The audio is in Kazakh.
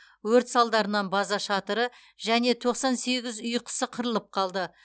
өрт салдарынан база шатыры және тоқсан сегіз үй құсы қырылып қалды